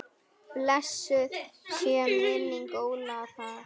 Blessuð sé minning Ólafar.